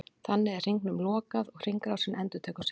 Þannig er hringnum lokað og hringrásin endurtekur sig.